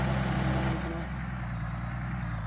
ഞ്ഞി എന്ത് പഠിക്കണു